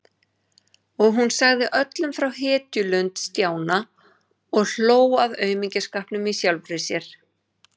Og hún sagði öllum frá hetjulund Stjána og hló að aumingjaskapnum í sjálfri sér.